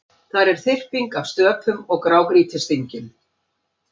Þar er þyrping af stöpum og grágrýtisdyngjum.